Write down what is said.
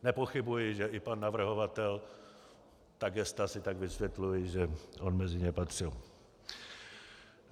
Nepochybuji, že i pan navrhovatel, ta gesta si tak vysvětluji, že on mezi ně patřil.